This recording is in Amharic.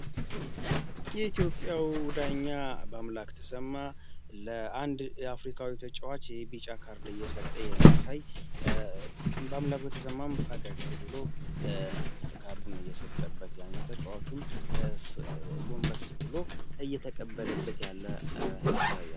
የኢትዮጵያው ዳኛ በአምላክ ተሰማ ለአንድ የአፍሪካዊ ተጫዋች የቢጫ ካርድ እየሰጠ የሚያሳይ በአምላክ ተሰማም ፈጋክ ብሎ ካርዱን እየሰጠበት ያኘው ተጫዋቹም ጎንበ ስፕሎ እየተቀበለበት ያለ ያሳያል።